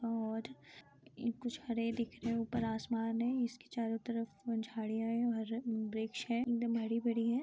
और ये कुछ हरे दिख रहे हैं ऊपर आसमान है इसके चारों तरफ झाडियाँ है और ब्रिज है एकदम हरी भरी है।